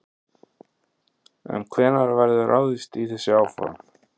En hvenær verður ráðist í þessi áform?